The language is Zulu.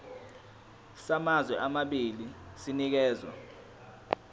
samazwe amabili sinikezwa